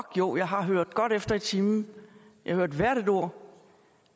jo jeg har hørt godt efter i timen jeg hørte hvert et ord